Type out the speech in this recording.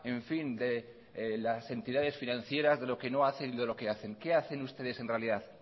en fin de las entidades financieras de lo que no hacen y de lo que hacen qué hacen ustedes en realidad